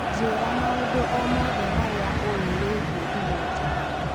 njĩira maũndũ o mothe marĩa uĩ wĩigie igũta